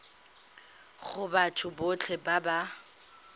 go batho botlhe ba ba